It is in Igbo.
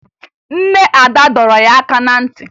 Nne Ada dọrọ ya aka na ntị